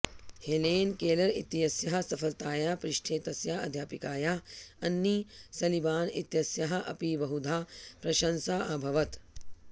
Helen Keller इत्यस्याः सफलतायाः पृष्ठे तस्याः अध्यापिकायाः अन्नी सलीबान् इत्यस्याः अपि बहुधा प्रशंसा अभवत्